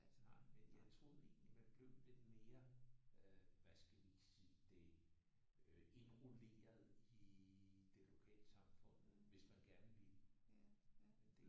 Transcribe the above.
Nej men jeg troede egentlig at man blev lidt mere øh hvad skal vi sige det indrulleret i det lokalsamfundet hvis man gerne ville